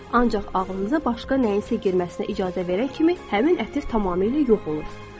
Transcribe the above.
Ancaq ağlınıza başqa nəyinsə girməsinə icazə verən kimi həmin ətir tamamilə yox olur.